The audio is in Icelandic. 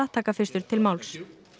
taka fyrstur til máls